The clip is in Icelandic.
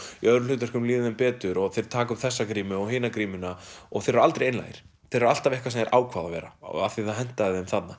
í öðrum hlutverkum líður þeim betur og þeir taka upp þessa grímu og hina grímuna og þeir eru aldrei einlægir þeir eru alltaf eitthvað sem þeir ákváðu að vera af því að það hentaði þeim þarna